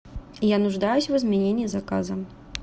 я нуждаюсь в изменении заказа